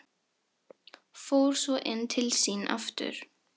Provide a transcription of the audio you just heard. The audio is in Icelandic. Fór svo inn til sín aftur.